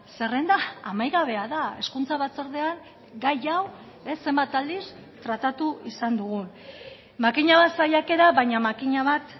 zerrenda amaigabea da hezkuntza batzordean gai hau zenbat aldiz tratatu izan dugun makina bat saiakera baina makina bat